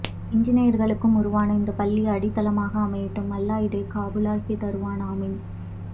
இஞ்சிநியர்களும் உருவாக இந்த பள்ளி அடித்தளமாக அமையட்டும் அல்லாஹ்இதை கபூளாக்கிதருவான் ஆமின்